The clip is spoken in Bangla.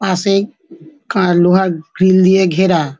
পাশে কার লোহার গ্রিল দিয়ে ঘেরা।